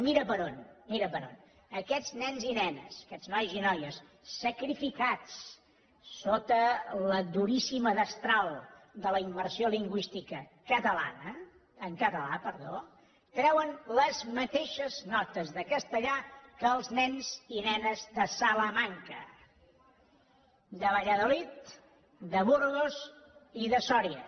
mira per on mira per on aquests nenes i nenes aquests noies i noies sacrificats sota la duríssima destral de la immersió lingüística en català treuen les mateixes notes de castellà que els nens i nenes de salamanca de valladolid de burgos i de sòria